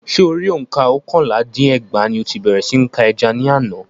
Ṣé Orí òǹkà oókànlá dín ní ẹgbàá ní o ti bèrè sí ní ka ẹja ní àna